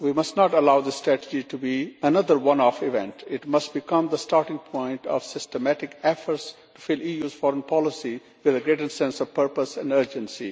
We must not allow the strategy to be another one off event it must become the starting point of systematic efforts to fill the EU's foreign policy with a greater sense of purpose and urgency.